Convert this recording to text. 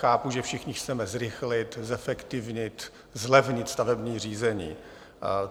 Chápu, že všichni chceme zrychlit, zefektivnit, zlevnit stavební řízení.